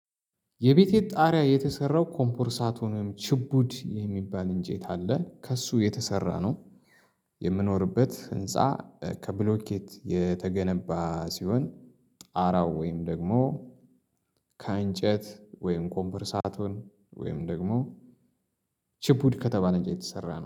የቤቴት ጣሪያ የተሰራው ኮምፖርሳቶን ወይም ችቡድ የሚባል እንጨት አለ ከእሱ የተሰራ ነው። የምኖርበት ህንፃ ከብሎኬት የተገነባ ሲሆን ጣራው ወይም ደግሞ ከአንጨት ወይም ኮምፐርሳቱን ወይም ደግሞ ችፕ ከተባለ እንጨት የተሰራ ነው።